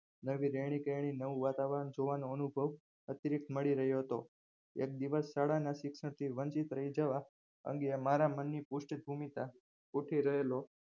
નવી રહેણી કહેણી નવી વાતાવરણ જોવાનો અનુભવ અતિરિક્ત મળી રહ્યો હતો શિક્ષણ થી વંચિત રહી જવા અંગે મારા મનની પુષ્ટભૂમિકા ગુંથી રહેલો